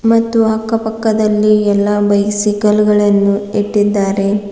ಮತ್ತು ಅಕ್ಕ ಪಕ್ಕದಲ್ಲಿ ಎಲ್ಲಾ ಬೈಸಿಕಲ್ ಗಳನ್ನು ಇಟ್ಟಿದ್ದಾರೆ.